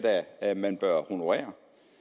da man bør honorere